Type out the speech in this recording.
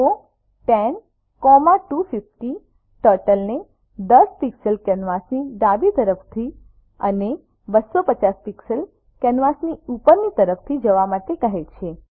go 10250 ટર્ટલને 10 pixels કેનવાસની ડાબી તરફથી અને 250 પિક્સેલ્સ કેનવાસની ઉપરની તરફથી જવા માટે કહે છે